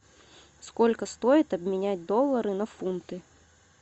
сколько стоит обменять доллары на фунты